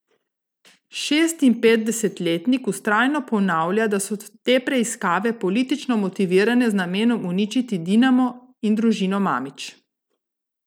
Šestinpetdesetletnik vztrajno ponavlja, da so te preiskave politično motivirane z namenom uničiti Dinamo in družino Mamić.